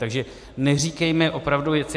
Takže neříkejme opravdu věci...